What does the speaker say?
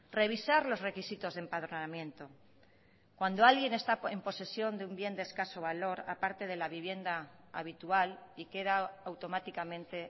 revisar los requisitos de empadronamiento cuando alguien está en posesión de un bien de escaso valor aparte de la vivienda habitual y queda automáticamente